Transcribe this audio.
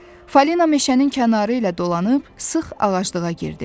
Falina meşənin kənarı ilə dolanıb sıx ağaclığa girdi.